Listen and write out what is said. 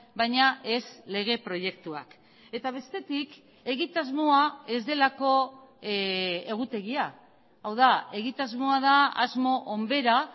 baina ez lege proiektuak eta bestetik egitasmoa ez delako egutegia hau da egitasmoa da asmo onbera